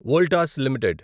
Voltas limited